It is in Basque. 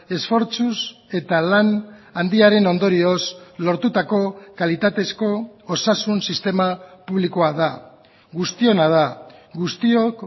esfortzuz eta lan handiaren ondorioz lortutako kalitatezko osasun sistema publikoa da guztiona da guztiok